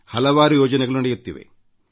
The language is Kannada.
ಹಲವಾರು ಯೋಜನೆಗಳು ನಡೆಯುತ್ತಿವೆ